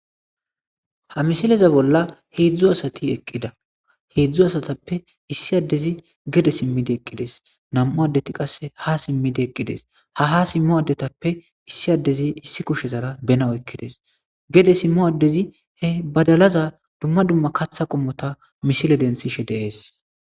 Ha misileza bolla heedzdzu asati eqqida. Heedzdzu asatappe issi addezi gede simmidi eqqides, nam'u addeti qasse ha simmidi eqqides, ha ha simmo addetappe issi addezi issi kushezara bena oykkides, gede simmo addezi he badalaza dumma dumma katha qommota misile densishe de'ees.